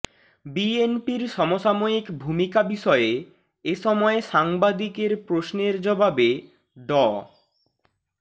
বিএনপির সমসাময়িক ভূমিকা বিষয়ে এসময় সাংবাদিকের প্রশ্নের জবাবে ড